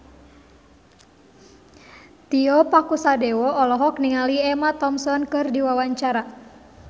Tio Pakusadewo olohok ningali Emma Thompson keur diwawancara